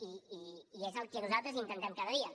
i és el que nosaltres intentem cada dia